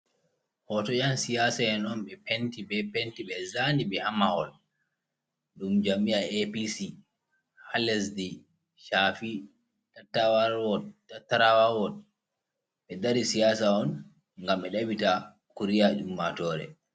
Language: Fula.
Hooto ƴan siyaasa en on ɓe penti bee Penti, ɓe zaani ɓe haa mahol, ɗum jami'ya APC haa lesdi Safi, Tattarawa Wot, ɓe dari siyaasa on ngam ɓe daɓɓita kuriya ummaatoore.